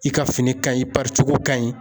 I ka fini ka ɲi i pari cogo ka ɲi